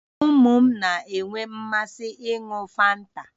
Ụmụ m na-enwe mmasị n'ịn̄ụ fanta